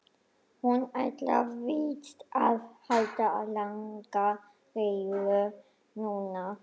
Hún ætlar víst að halda langa ræðu núna.